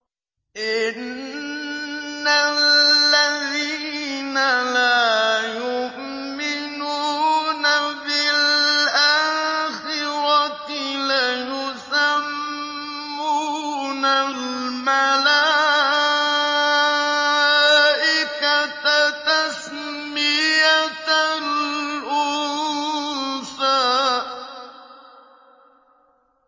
إِنَّ الَّذِينَ لَا يُؤْمِنُونَ بِالْآخِرَةِ لَيُسَمُّونَ الْمَلَائِكَةَ تَسْمِيَةَ الْأُنثَىٰ